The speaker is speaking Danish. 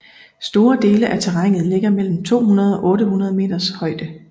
Store dele af terrænet ligger mellem 200 og 800 meters højde